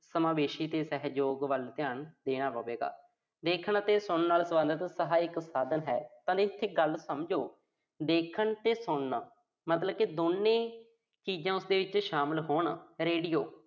ਸਮਾਵੇਸ਼ੀ ਤੇ ਸਹਿਯੋਗ ਵੱਲ ਧਿਆਨ ਦੇਣਾ ਪਵੇਗਾ। ਦੇਖਣ ਅਤੇ ਸੁਣਨ ਨਾਲ ਸਬੰਧਤ ਸਹਾਇਕ ਸਾਧਨ ਹੈ। ਆਪਾਂ ਨੇ ਇਥੇ ਗੱਲ ਸਮਝੋ। ਦੇਖਣ ਤੇ ਸੁਣਨ। ਮਤਲਬ ਕਿ ਦੋਨੇ ਚੀਜ਼ਾਂ ਜਿੱਥੇ ਸ਼ਾਮਲ ਹੋਣ Radio